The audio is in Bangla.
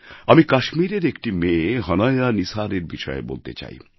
আমি কাশ্মীরের একটি মেয়ে হনায়া নিসারের বিষয়ে বলতে চাই